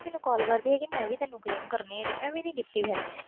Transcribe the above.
ਮੈਨੂੰ ਕਾਲ ਕੀਤੀ ਮੈਂ ਵੀ ਨਹੀਂ ਫਿਰ